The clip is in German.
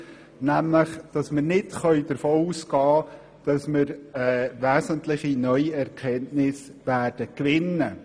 nämlich so, dass wir nicht davon ausgehen können, dadurch wesentliche neue Erkenntnisse zu gewinnen.